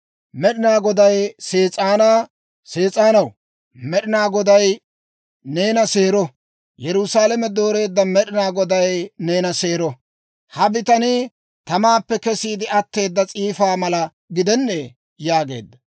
Med'inaa Goday Sees'aanaa, «Sees'aanaw, Med'inaa Goday neena seero; Yerusaalame dooreedda Med'inaa Goday neena seero! Ha bitanii tamaappe kesiide atteeda s'iifaa mala gidennee?» yaageedda.